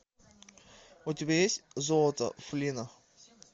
у тебя есть золото флина